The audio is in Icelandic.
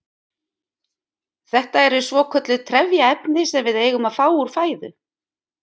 Þetta eru svokölluð trefjaefni sem við eigum að fá úr fæðu.